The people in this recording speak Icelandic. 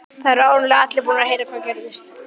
Það eru áreiðanlega allir búnir að heyra hvað gerðist.